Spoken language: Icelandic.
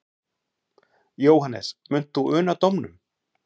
Jóhannes: Munt þú una dómnum?